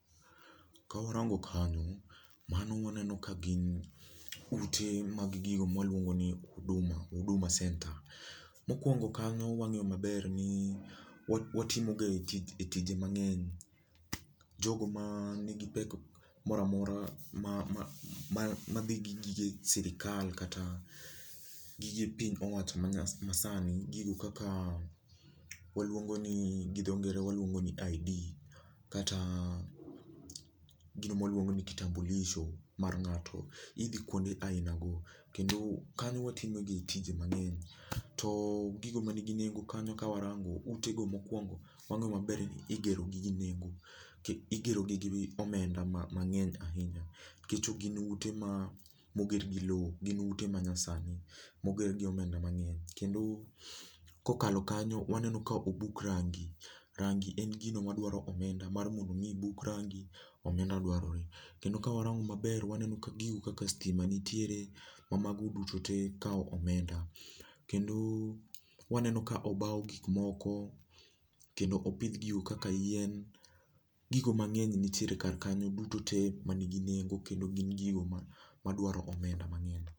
Ka warango kanyo, mano waneno ka gin ute mag gigo maluongo ni Huduma, Huduma senta. Mokuongo kanyo wang'eyo maber ni watimo gae tije mang'eny. Jogo man kod pek moro amora madhi gi gige sirkal kata gige piny owacho manyasani waluongo ni gidho ngere waluongo ni ID kata gino ma waluongo ni kitamulisho mar ng'ato. Idhi kuonde ainago kendo kanyo watimo gi tije mang'eny. To gigo mani gi nengo kanyo ka warango, ute go mokuongo wang'eyo maber ni igero gi gi nengo, igero gi gi omenda mang'eny ahinya nikech gin ute ma oger gi lowo gin ute manyasani moger gi omenda mang'eny. Kendo ka okalo kanyo waneno ka utego obuk range, range en gino madwaro omenda, mar mondo mi obuk rangi omenda dwarore. Kendo ka warango maber, waneno kaka gigo kaka sitima nitiere ma mago duto te kawo omenda. Kendo waneno ka obaw gik moko kendo opidh gigo kaka yien, gigo mang'eny nitiere kar kanyo dutontee manigi nengo kendo gin gigo madwaro omenda mang'eny.